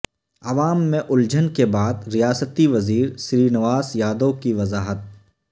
عوام میں الجھن کے بعد ریاستی وزیر سرینواس یا دو کی وضاحت